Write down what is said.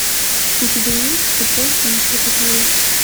у тебя есть тупой и еще тупее